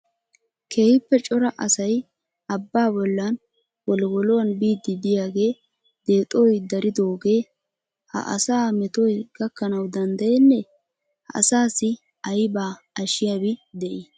Keehippe cora asay abbaa bollan wolliwoluwaan biidi diyaage deexoy daridooge ha asa metoy gakanaw danddayene? Ha asassi aybba ashiyabi de'ii?